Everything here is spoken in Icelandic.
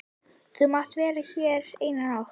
Þú mátt vera hér eina nótt.